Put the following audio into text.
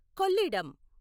Kollidam